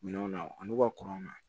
Minɛnw na an n'u ka kurun na